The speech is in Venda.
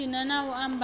hu si na a ambaho